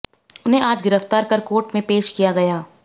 उन्हें आज गिरफ्तार कर कोर्ट में पेश किया गया